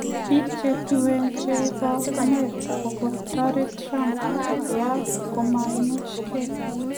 Bik che tuen che bo America kokotoret Trump kolya komuchgei?